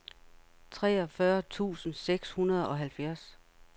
treogfyrre tusind seks hundrede og halvfjerds